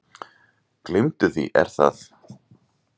Gleymdu því Er það?